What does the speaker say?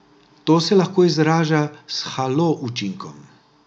To se lahko izraža s halo učinkom.